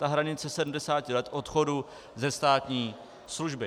Ta hranice 70 let odchodu ze státní služby.